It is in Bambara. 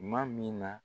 Tuma min na